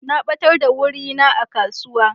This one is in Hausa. Na batar da wuri na a kasuwa.